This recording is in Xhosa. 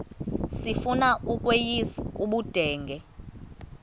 sifuna ukweyis ubudenge